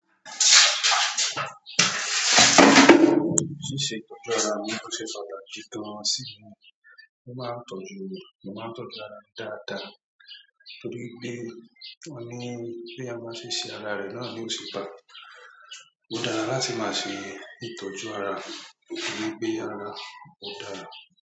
Ṣíṣe ìtọ́jú ara mi ó ṣe pàtàkì gan-an sí mi. Mo máa ń tọ́jú, mo máa ń tọ́jú ara mi dáadáa torí pé wọ́n ní béèyàn bá ṣe ṣe ara rẹ náà ni óò ṣe báa. Ó dára láti máa ṣe ìtọ́jú ara kí ó gbé ara ó dára.